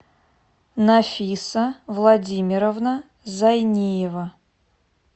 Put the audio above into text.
нафиса владимировна зайниева